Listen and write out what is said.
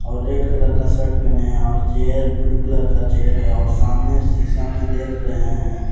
और red colour का shirt पहने हैं और चेयर ब्लू कलर का चेयर है और सामने शीशा में देख रहे हैं।